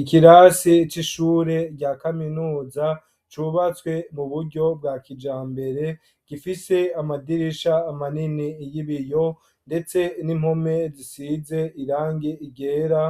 Ikirasi c'ishure rya kaminuza cubatswe mu buryo bwa kijambere, gifise amadirisha manini y'ibiyo, ndetse n'impome zisize irangi ryera,